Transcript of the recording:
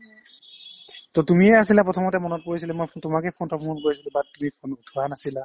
to তুমিয়ে আছিলা প্ৰথমতে মনত পৰিছিলে মই তোমাক ফোনতো প্ৰথমতে মই কৰিছিলো but তুমি ফোন উঠোৱা নাছিলা